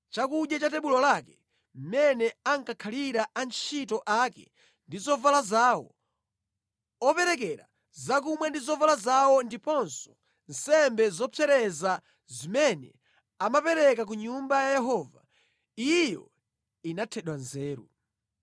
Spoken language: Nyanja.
chakudya cha pa tebulo pake, moyo wa antchito ake ndi zovala zawo; atumiki opereka zakumwa ndi zovala zawo ndiponso nsembe zopsereza zimene ankapereka ku Nyumba ya Yehova, inathedwa nzeru.